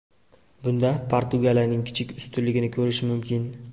Bunda Portugaliyaning kichik ustunligini ko‘rish mumkin.